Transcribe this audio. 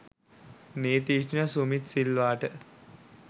නීතිඥ සුමිත් සිල්වාට